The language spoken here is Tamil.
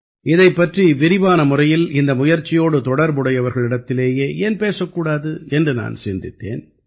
இதைப் பற்றி விரிவான முறையில் இந்த முயற்சியோடு தொடர்புடையவர்களிடத்திலேயே ஏன் பேசக் கூடாது என்று நான் சிந்தித்தேன்